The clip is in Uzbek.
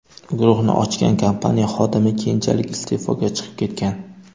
Guruhni ochgan kompaniya xodimi keyinchalik iste’foga chiqib ketgan.